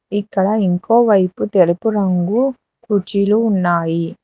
ఇక్కడ ఇంకో వైపు తెలుపు రంగు కుర్చీలు ఉన్నాయి.